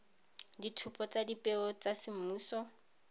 ditshupo tsa dipeo tsa semmuso